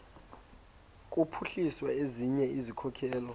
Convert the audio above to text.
kuphuhlisa ezinye izikhokelo